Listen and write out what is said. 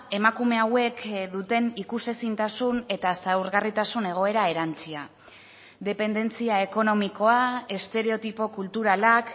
emakume hauek duten ikusezintasun eta zaurgarritasun egoera erantsia dependentzia ekonomikoa estereotipo kulturalak